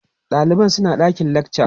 ɗaliban suna ɗakin lakca